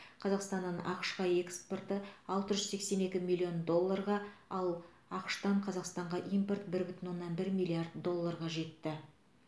қазақстаннан ақш қа экспорты алты жүз сексен екі миллион долларға ал ақш тан қазақстанға импорт бір бүтін оннан бір миллиард долларға жетті